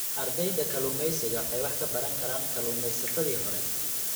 Ardayda kalluumeysiga waxay wax ka baran karaan kalluumaysatadii hore.